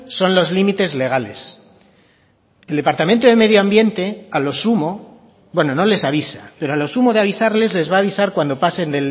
son los límites legales el departamento de medio ambiente a lo sumo bueno no les avisa pero a lo sumo de avisarles les va a avisar cuando pasen